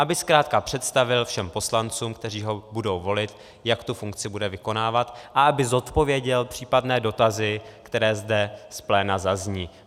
Aby zkrátka představil všem poslancům, kteří ho budou volit, jak tu funkci bude vykonávat, a aby zodpověděl případné dotazy, které zde z pléna zazní.